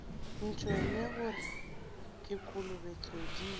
ntšwele gore ke kolobe tsodii